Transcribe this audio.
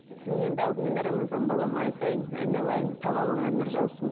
мен енді алдымен рамазан балама айтайын айналайын талабыңа нұр жаусын